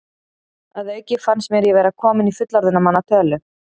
Að auki fannst mér ég vera kominn í fullorðinna manna tölu.